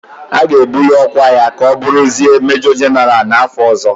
A ga-ebuli ọkwa ya ka ọ bụrụzie Mejọ Jịnara n'afọ ọzọ.